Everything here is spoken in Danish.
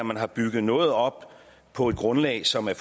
man har bygget noget op på et grundlag som er